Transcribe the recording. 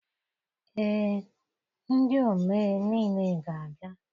Ee, ndị omee niile ga-abịa.